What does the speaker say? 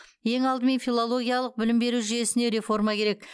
ең алдымен филологиялық білім беру жүйесіне реформа керек